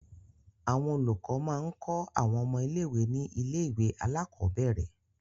Àwọn olùkọ́ máa ń kọ́ àwọn ọmọ ilé-ìwé ní ilé-ìwé alákọ̀ọ́bẹ̀rẹ̀.